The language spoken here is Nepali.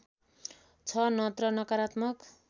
छ नत्र नकारात्मक